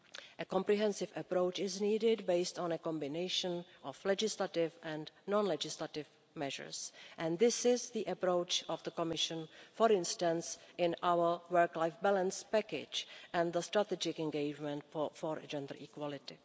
A comprehensive approach is needed based on a combination of legislative and non legislative measures, and this is the approach of the Commission, for instance in our work life balance package and the strategic engagement for gender equality.